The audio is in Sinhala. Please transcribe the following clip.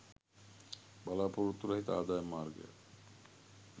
බලා‍පොරොත්තු රහිත ආදායම් මාර්ගයක්